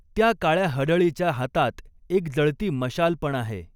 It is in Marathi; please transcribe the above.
त्या काळ्या हडळीच्या हातात एक जळती मशाल पण आहे.